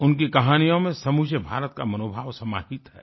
उनकी कहानियों में समूचे भारत का मनोभाव समाहित है